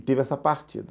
E teve essa partida.